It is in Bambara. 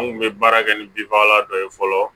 An kun bɛ baara kɛ ni binfagalan dɔ ye fɔlɔ